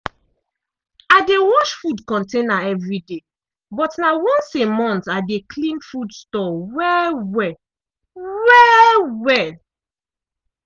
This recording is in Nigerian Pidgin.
i dey wash food container evriday but na once a month i de clean food store well-well. well-well.